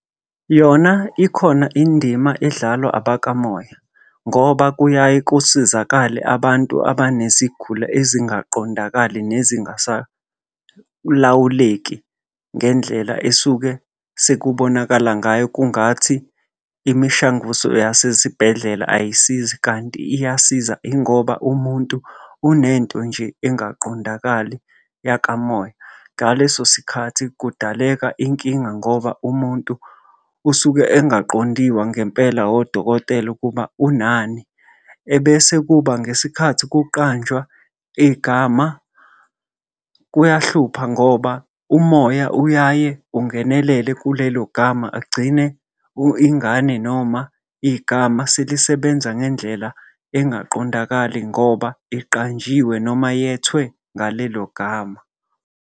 Yona ikhona indima edlalwa abakamoya, ngoba kuyaye kusizakale abantu abanezigulo ezingaqondakali nezingasalawuleki ngendlela esuke sekubonakala ngayo kungathi imishanguzo yasezibhedlela ayisizi kanti iyasiza ingoba umuntu unento nje engaqondakali yakamoya. Ngaleso sikhathi kudaleka inkinga ngoba umuntu usuke engaqondiwa ngempela odokotela ukuba unani, ebese kuba ngesikhathi ukuqanjwa igama kuyahlupha ngoba umoya uyaye ungenelele kulelo ngama, agcine ingane noma igama selisebenza ngendlela engaqondakali ngoba iqanjiwe noma yethwe ngalelo gama.